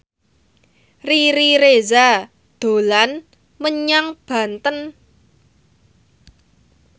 Riri Reza dolan menyang Banten